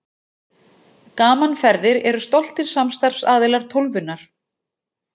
Gaman Ferðir eru stoltir samstarfsaðilar Tólfunnar.